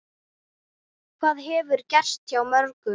Það hefur gerst hjá mörgum.